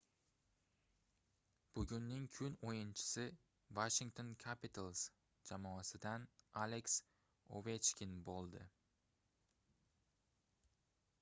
bugunning kun oʻyinchisi washington capitals jamoasidan aleks ovechkin boʻldi